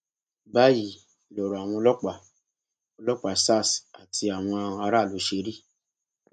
báyìí lọrọ àwọn ọlọpàá ọlọpàá sars àti àwọn aráàlú ṣe rí